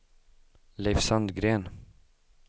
Leif Sandgren